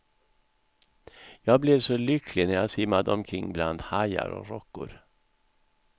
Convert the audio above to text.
Jag blev så lycklig när jag simmade omkring bland hajar och rockor.